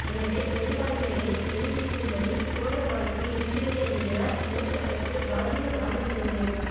எனவே பெரும்பான்மையை நிருபிக்கும்படி கோர வாய்ப்பு இருக்கிறது என்கிறார் மூத்த வக்கீல் ராஜிவ் ராமச்சந்திரன்